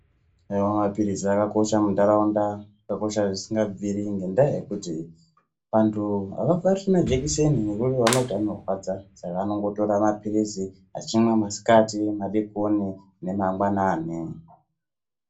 Haiwa mapiritsi akakosho mundaraunda ,akakosha zvisingabviri ngendaa yekuti vantu avabati majekiseni ngendaa yekuti anorwadza ,saka vanongotora mapirisi achimwa masikati ,madekoni nemangwanani.